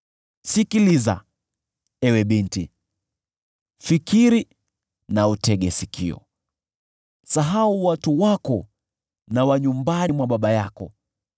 Sikiliza, ewe binti, fikiri na utege sikio: Sahau watu wako na nyumba ya baba yako.